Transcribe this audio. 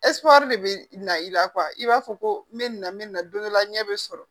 de bɛ na i la i b'a fɔ ko n bɛ na n bɛ na don dɔla ɲɛ bɛ sɔrɔ